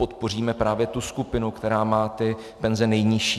Podpoříme právě tu skupinu, která má ty penze nejnižší.